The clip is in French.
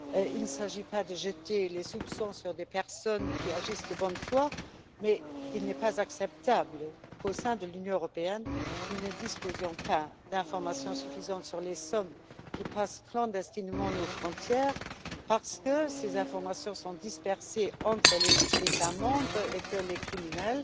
Il ne s'agit pas de jeter un quelconque soupçon sur des personnes qui agissent de bonne foi, mais il n'est pas acceptable qu'au sein de l'Union européenne, nous ne disposions pas d'informations suffisantes sur les sommes qui passent clandestinement nos frontières parce que ces informations sont dispersées entre les États membres et que les criminels